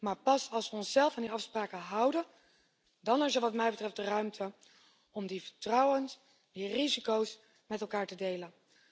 Maar pas als we onszelf aan die afspraken houden, dan is er wat mij betreft de ruimte om in vertrouwen die risico's met elkaar te delen.